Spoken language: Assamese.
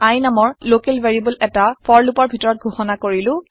i নামৰ লকেল ভেৰিয়েবল এটা ফৰ লুপৰ ভিতৰত ঘোষণা কৰিলো